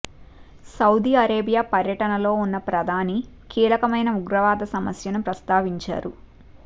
Saudi Arabia పర్యటనలో ఉన్న ప్రధాని కీలకమైన ఉగ్రవాద సమస్యను ప్రస్తావించారు